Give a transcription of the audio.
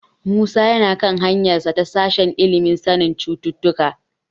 Musa yana kan hanyarsa ta sashen ilimin sanin cututtuka.